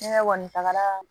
Ne kɔni tagara